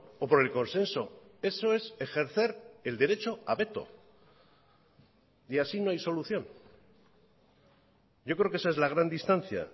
o por el consenso eso es ejercer el derecho a veto y así no hay solución yo creo que esa es la gran distancia